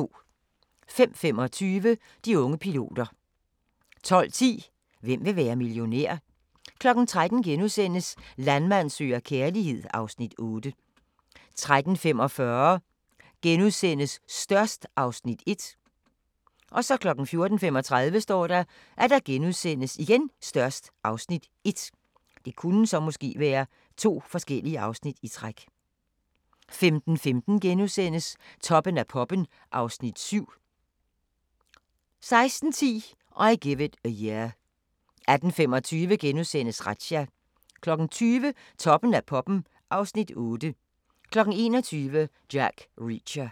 05:25: De unge piloter 12:10: Hvem vil være millionær? 13:00: Landmand søger kærlighed (Afs. 8)* 13:45: Størst (Afs. 1)* 14:35: Størst (Afs. 1)* 15:15: Toppen af poppen (Afs. 7)* 16:10: I Give It A Year 18:25: Razzia * 20:00: Toppen af poppen (Afs. 8) 21:00: Jack Reacher